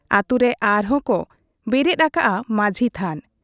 ᱟᱹᱛᱩ ᱨᱮ ᱟᱨᱦᱚᱸ ᱠᱚ ᱵᱮᱨᱮᱫ ᱟᱠᱟᱜ ᱟ ᱢᱟᱹᱡᱷᱤ ᱛᱷᱟᱱ ᱾